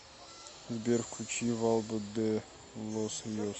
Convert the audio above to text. сбер включи валдо де лос риос